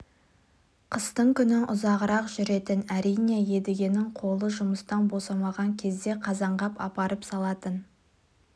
қыстың күні ұзағырақ жүретін әрине едігенің қолы жұмыстан босамаған кезде қазанғап апарып салатын